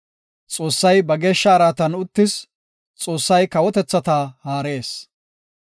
Xoossay ba geeshsha araatan uttis, Xoossay kawotethata haarees.